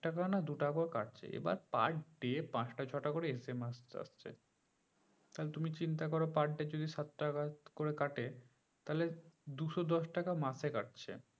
এক টাকা না দু টাকা কাটছে এইবার per day পাঁচটা ছটা করে SMS আসছে তাহলে তুমি চিন্তা করে per day যদি সাত টাকা করে কাটে তাহলে দুশো দশ টাকা মাসে কাটছে